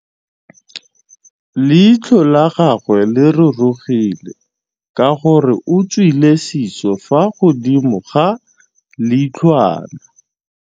Leitlhô la gagwe le rurugile ka gore o tswile sisô fa godimo ga leitlhwana.